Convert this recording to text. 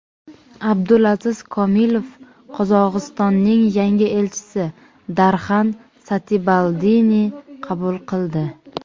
Abdulaziz Komilov Qozog‘istonning yangi elchisi Darxan Satibaldini qabul qildi.